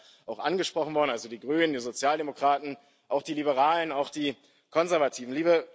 Das ist ja auch angesprochen worden also die Grünen, die Sozialdemokraten, auch die Liberalen und auch die Konservativen.